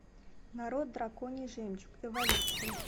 нарой драконий жемчуг эволюция